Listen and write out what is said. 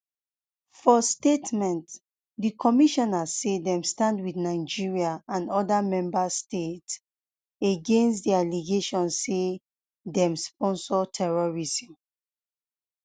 for statement di commission say dem stand wit nigeria and oda member states um against di allegations say dem dey um sponsor terrorism